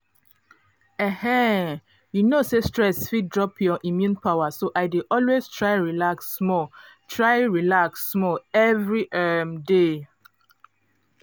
um you know say stress fit drop your immune power so i dey always try relax small try relax small every um day